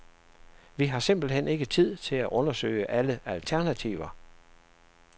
Vi har simpelthen ikke tid til at undersøge alle alternativer.